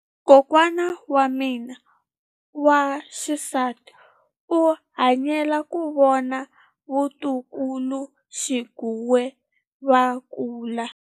Kokwa wa mina wa xisati u hanyile ku vona vatukuluxinghuwe va kula.